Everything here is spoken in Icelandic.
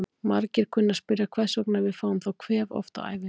Margir kunna að spyrja hvers vegna við fáum þá kvef oft á ævinni.